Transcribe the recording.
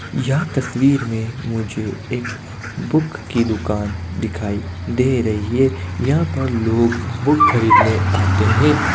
यह तस्वीर में मुझे एक बुक की दुकान दिखाई दे रही है| यहाँ पर लोग बुक खरीदने आते हैं |